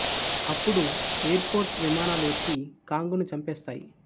అప్పుడు air force విమానాలు వచ్చి కాంగ్ ను చంపేస్తాయి